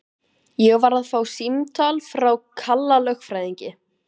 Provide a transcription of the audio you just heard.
Ég var að fá símtal frá Kalla lögfræðingi.